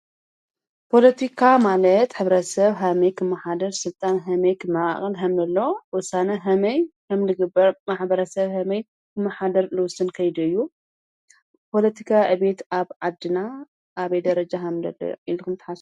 ፖሎቲካ ማለት ሕብረተ ሰብ ኸመይ ኽመሓድር ሥልጣን ኸመይ ክመቃቀል ሃምምለለዎ ወሳነ ሃመይ ሐምልግበር ማሕበረ ሰብ ኸመይ ክመሓደር ልውስን ከይዲ እዩ፡፡ ፖሎቲካ ዕቤት ኣብ ዓድና ኣብ ደ ረጃ ሃምለሎ ኢልኹም ትሓስቡ?